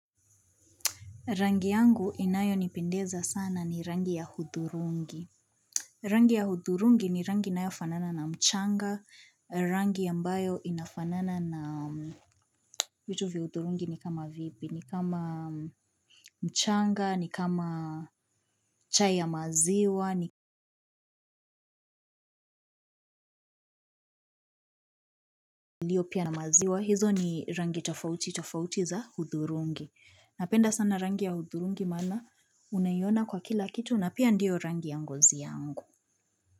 Rangi yangu inayonipendeza sana ni rangi ya hudhurungi. Rangi ya hudhurungi ni rangi inayofanana na mchanga, rangi ambayo inafanana na vitu vya hudhurungi ni kama vipi ni kama mchanga, ni kama chai ya maziwa, ni ilio pia na maziwa. Hizo ni rangi tofauti, tofauti za hudhurungi. Napenda sana rangi ya hudhurungi maana unaiona kwa kila kitu na pia ndio rangi ya ngozi yangu.